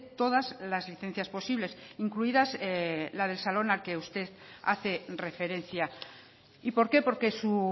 todas las licencias posibles incluidas la del salón al que usted hace referencia y por qué porque su